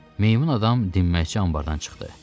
Meymun adam dinməzcə anbardan çıxdı.